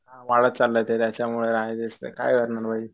वाढत चाललाय ते त्याच्यामुळं